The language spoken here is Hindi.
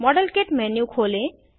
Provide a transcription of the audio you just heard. मॉडेल किट मेन्यू खोलें